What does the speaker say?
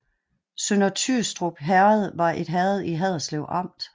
Sønder Tyrstrup Herred var et herred i Haderslev Amt